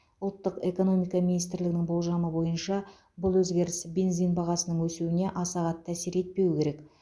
ұлттық экономика министрлігінің болжамы бойынша бұл өзгеріс бензин бағасының өсуіне аса қатты әсер етпеуі керек